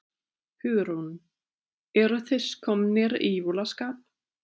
Hugrún: Eruð þið komnir í jólaskap?